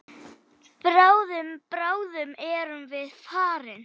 Bráðum, bráðum erum við farin.